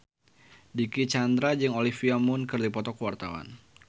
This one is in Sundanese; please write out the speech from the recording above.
Dicky Chandra jeung Olivia Munn keur dipoto ku wartawan